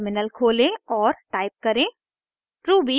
terminal खोलें और type करें